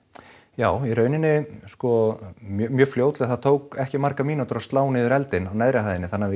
já í raun sko mjög fljótlega það tók ekki mjög margar mínútur að slá niður eldinn á neðri hæðinni þannig að við